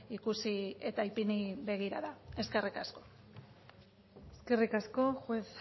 ikusi eta ipini begirada eskerrik asko eskerrik asko juez